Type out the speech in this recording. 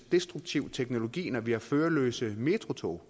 destruktiv teknologi når vi har førerløse metrotog